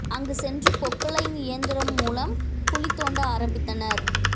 அங்கு சென்று பொக்லைன் இயந்திரம் மூலம் குழி தோண்ட ஆரம்பித்தனர்